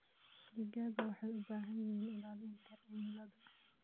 Digaagga waxay u baahan yihiin ilaalinta cimilada.